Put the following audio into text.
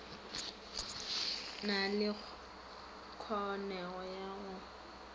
na le kholego ya go